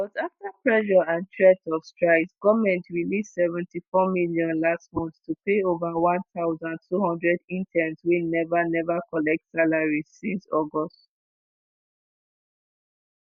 but afta pressure and threats of strikes goment release $7.4m last month to pay ova 1200 interns wey neva neva collect salaries since august.